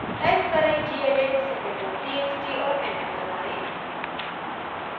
type करें: gedit secondtxt और enter दबाएं